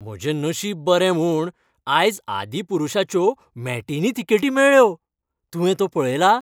म्हजें नशीब बरें म्हूण आयज "आदिपुरुशा"च्यो मॅटिनी तिकेटी मेळ्ळ्यो. तुवें तो पळयला?